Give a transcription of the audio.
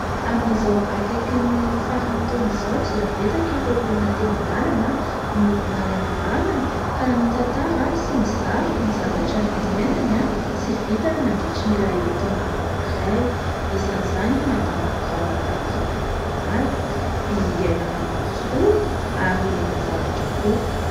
Amin'izao akaikin'ny faran'ny taona izao dia betsaka ireo olona teny an-dalana no nalaina am-bavany ka nitantara sy nizara ny zavatra niainany sy vitany nandritra ilay taona anankiray. Isan'izany i Madama Ravaka Rakotomalala, i Aina Ramarosoa ary Razafindrakoto.